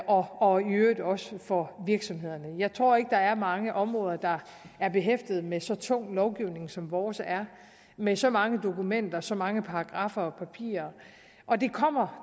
og i øvrigt også for virksomhederne jeg tror ikke der er mange områder der er behæftet med så tung en lovgivning som vores er med så mange dokumenter så mange paragraffer og papirer og det kommer